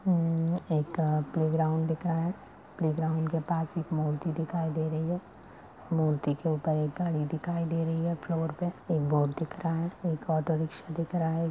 एक प्लेग्राउंड है playground के पास एक मूर्ति दिखाई दे रही है मूर्ति के ऊपर एक गाड़ी दिखाई दे रही है फ्लोर पे एक ऑटो रिक्शा---